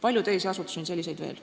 On veel palju teisi selliseid asutusi.